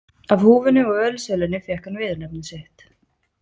Af húfunni og ölsölunni fékk hann viðurnefni sitt.